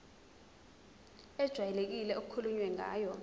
ejwayelekile okukhulunywe ngayo